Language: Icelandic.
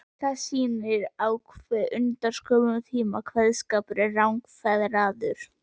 Það sýnir á hve undraskömmum tíma kveðskapur er rangfeðraður.